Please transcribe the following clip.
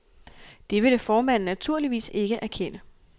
Det ville formanden naturligvis ikke erkende.